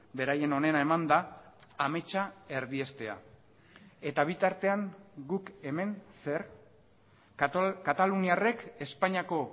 beraien onena emanda ametsa erdiestea eta bitartean guk hemen zer kataluniarrek espainiako